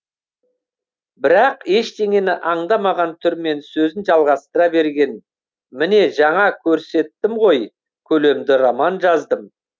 бірақ ештеңені аңдамаған түрмен сөзін жалғастыра берген міне жаңа көрсеттім ғой көлемді роман жаздым